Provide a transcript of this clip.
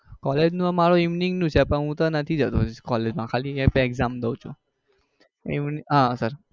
collage નો મારો evening નું છે પણ હું તો નથી જતો collage માં ખાલી exam દઉં છું eve આહ sir